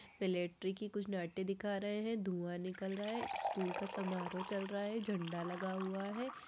Military की कुछ नाट्य दिखा रहे है धुआँ निकल रहा है एक स्कूल का समारोह चल रहा है झंडा लगा हुआ है।